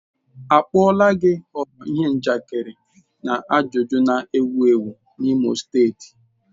A kpuola gi ghọrọ ihe njakịrị na ajụjụ na-ewu ewu n'Imo steeti.